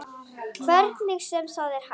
Hvernig sem það er hægt.